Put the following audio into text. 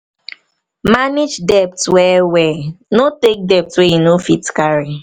manage debt well well no take debt wey you no fit carry